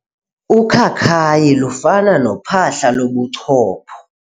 Ukhakayi lufana nophahla lobuchopho.